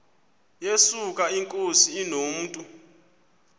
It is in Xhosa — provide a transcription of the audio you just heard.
yesuka inkosi inomntu